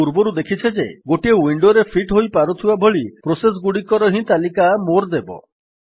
ଆମେ ପୂର୍ବରୁ ଦେଖିଛେ ଯେ ଗୋଟିଏ ୱିଣ୍ଡୋରେ ଫିଟ୍ ହୋଇପାରୁଥିବା ଭଳି ପ୍ରୋସେସ୍ ଗୁଡିକର ହିଁ ତାଲିକା ମୋରେ ଦେବ